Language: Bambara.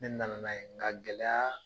Ne na na n'a ye nga gɛlɛya